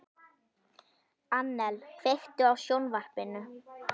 Annel, kveiktu á sjónvarpinu.